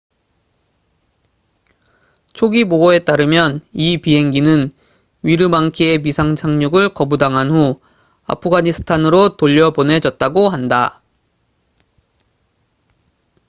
초기 보고에 따르면 이 비행기는 위르망키에 비상 착륙을 거부당한 후 아프가니스탄으로 돌려보내졌다고 한다